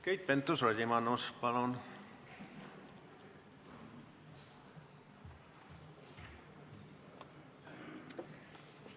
Keit Pentus-Rosimannus, palun!